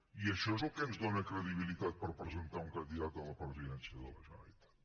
i això és el que ens dóna credibilitat per presentar un candidat a la presidència de la generalitat